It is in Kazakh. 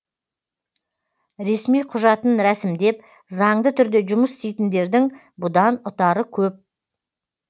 ресми құжатын рәсімдеп заңды түрде жұмыс істейтіндердің бұдан ұтары көп